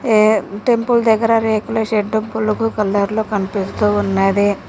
ఏ temple దగ్గర రేకుల shed బులుగు కలర్లో కన్పిస్తూ ఉన్నది.